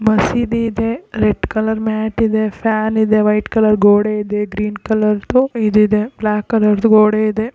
ಮಸೀದಿ ಇದೆ red colour mat ಇದೆ ಫ್ಯಾನ್ ಇದೆ ವೈಟ್ ಕಲರ್ ಗೋಡೆ ಇದೆ ಗ್ರೀನ್ ಕಲರ್ ದು ಈದ್ ಇದೆ ಬ್ಲಾಕ್ ಕಲರ್ ದು ಗೋಡೆ ಇದೆ.